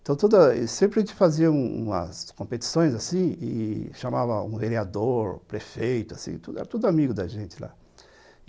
Então, sempre a gente fazia umas competições e chamava um vereador, prefeito, assim, era tudo amigo da gente lá.